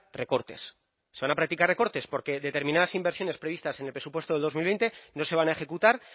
recortes se van a practicar recortes porque determinadas inversiones previstas en el presupuesto de dos mil veinte no se van a ejecutar